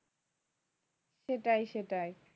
সেটাই সেটাই